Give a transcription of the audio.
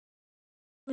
segir Guðrún.